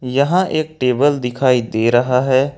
यहां एक टेबल दिखाई दे रहा है।